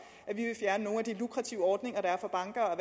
han jo de lukrative ordninger der er for banker